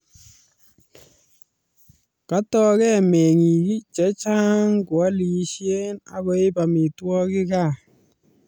Katoke mengik chechan koalisie akoib amitwokik kaa